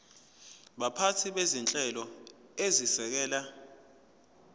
baphathi bezinhlelo ezisekela